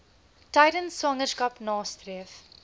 tydens swangerskap nastreef